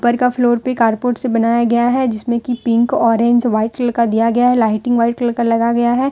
ऊपर का फ्लोर पे कारपोट से बनाया गया है जिसमें की पिंक ऑरेंज व्हाइट कलर का दिया गया है लाइटिंग व्हाइट कलर का लगा गया है।